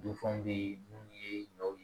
Dunfanw bɛ yen minnu ye ɲɔw ye